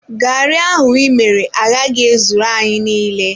Garri ahụ ịmere agaghị ezuru anyị niile.